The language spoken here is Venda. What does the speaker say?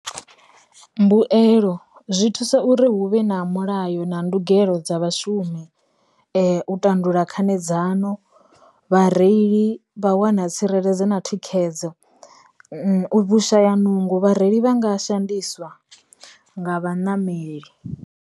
Mbuelo, zwi thusa uri hu vhe na mulayo na ndugelo dza vhashumi, u tandulula khanedzano, vhareili vha wana tsireledzo na thikhedzo, vhu shaya nungo. Vhareili vha nga shandukiswa nga vha ṋameli.